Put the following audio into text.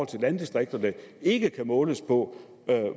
til landdistrikterne ikke kan måles på